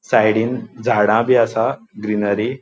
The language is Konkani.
साइडीन झाडा बी आसा ग्रीनरी .